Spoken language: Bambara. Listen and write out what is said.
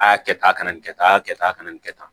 A y'a kɛ tan a kana nin kɛ tan a y'a kɛ tan a kana nin kɛ tan